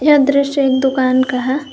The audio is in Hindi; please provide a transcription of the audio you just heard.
यह दृश्य एक दुकान का है।